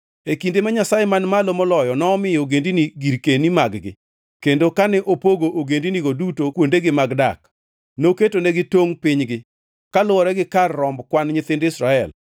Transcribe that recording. E kinde ma Nyasaye Man Malo Moloyo nomiyo ogendini girkeni mag-gi, kendo kane opogo ogendinigo duto kuondegi mag dak, noketonegi tongʼ pinygi kaluwore gi kar romb kwan nyithind Israel.